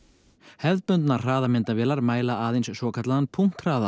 hefðbundnar hraðamyndavélar mæla aðeins svokallaðan